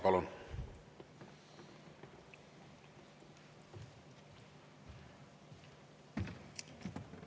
Palun!